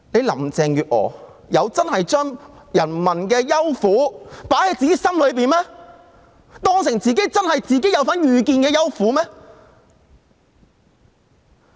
林鄭月娥真有把市民的憂苦放在自己心上，並視之為一己的憂苦嗎？